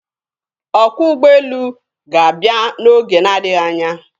Ọkwọ ụgbọelu ga-abịa n'oge na-adịghị anya.